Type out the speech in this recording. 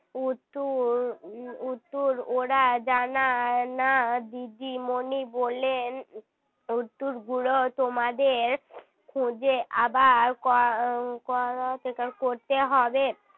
উত্তর উত্তর ওরা জানায় না দিদিমণি বললেন উত্তরগুলো তোমাদের খুঁজে আবার . করতে হবে